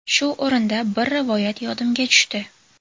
Shu o‘rinda, bir rivoyat yodimga tushdi.